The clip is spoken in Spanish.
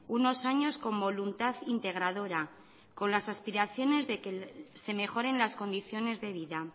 unos años con voluntad integradora con las aspiraciones de que se mejoren las condiciones de vida